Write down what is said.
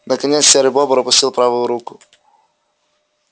наконец серый бобр опустил правую руку